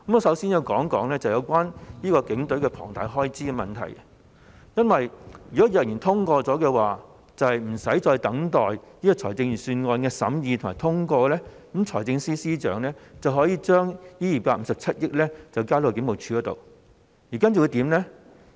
首先，我想指出有關警隊龐大開支撥款的問題，如果決議案獲得通過，在無須等待財政預算審議和通過的情況下，財政司司長便可以先把這257億元交給警務處，然後會怎樣呢？